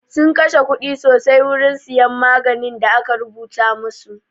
Sun kashe kuɗi sosai wurin siyan maganin da aka rubuta masu